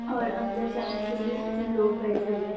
और अंदर जाने की लिए लोग बेठे हुई हे।